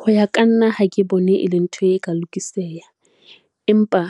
Ho ya ka nna ha ke bone e le ntho e ka lokiseha, empa